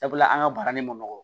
Sabula an ka baara nin ma nɔgɔ